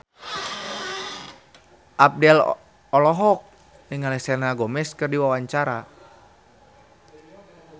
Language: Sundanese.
Abdel olohok ningali Selena Gomez keur diwawancara